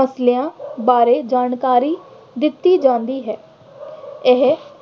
ਮਸਲਿਆਂ ਬਾਰੇ ਜਾਣਕਾਰੀ ਦਿੱਤੀ ਜਾਂਦੀ ਹੈ। ਇਹ